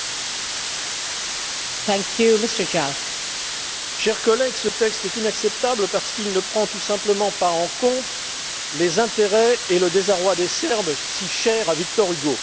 Madame la Présidente, chers collègues, ce texte est inacceptable parce qu'il ne prend tout simplement pas en compte les intérêts et le désarroi des Serbes, si chers à Victor Hugo.